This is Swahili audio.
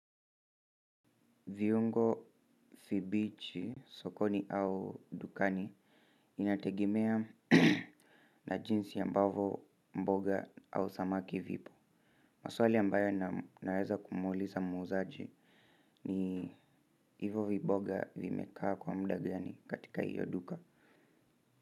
Viungo vibichi, sokoni au dukani inategemea na jinsi ambavo mboga au samaki vipo. Maswali ambayo naweza kumuuliza muuzaji ni hivo viboga vimekaa kwa muda gani katika hiyo duka.